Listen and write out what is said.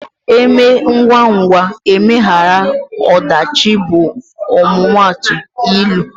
E mee ngwangwa emeghara ọdachi bụ ọmụmaatụ ilu.